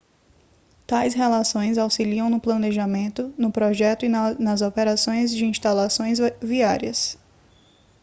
tais relações auxiliam no planejamento no projeto e nas operações de instalações viárias